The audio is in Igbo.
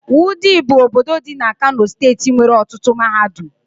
Wudil bụ obodo dị na Kano steeti nwere ọtụtụ mahadum